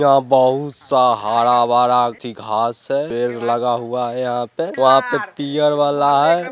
यहाँ बहुत सा हरा भरा थी घास है पेड़ लगा हुआ है यहाँ पे वहाँ पे पियर वाला है।